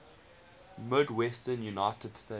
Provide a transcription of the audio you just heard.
midwestern united states